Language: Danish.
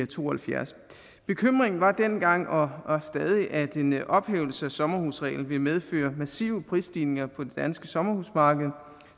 to og halvfjerds bekymringen var dengang og er stadig at en ophævelse af sommerhusreglen vil medføre massive prisstigninger på det danske sommerhusmarked